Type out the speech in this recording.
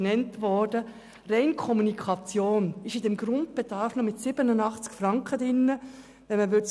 Allein für die Kommunikation sind im Grundbedarf noch 87 Franken vorgesehen.